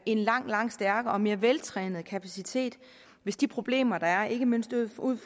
en langt langt stærkere og mere veltrænet kapacitet hvis de problemer der ikke mindst er ud